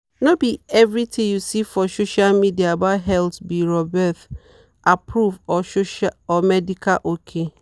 no be everything you see for social media about health be roberth-approved or medical ok.